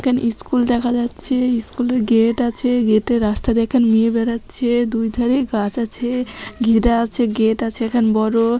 এখানে ইস্কুল দেখা যাচ্ছে ইস্কুল -এর গেট আছে গেটে রাস্তা দেখান মেয়ে বেড়াচ্ছে দুই ধারে গাছ আছে ঘেরা আছে গেট আছে এখানে বড়ো।